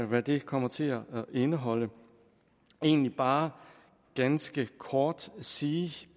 hvad det kommer til at indeholde men egentlig bare ganske kort sige